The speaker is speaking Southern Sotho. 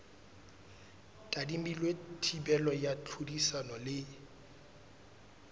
tadimilwe thibelo ya tlhodisano le